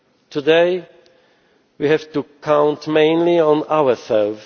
Today, we have to count mainly on ourselves.